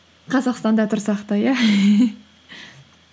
қазақстанда тұрсақ та иә